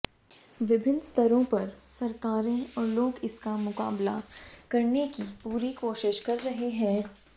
विभिन्न स्तरों पर सरकारें और लोग इसका मुकाबला करने की पूरी कोशिश कर रहे हैं